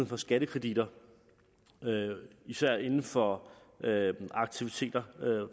for skattekreditter især inden for aktiviteter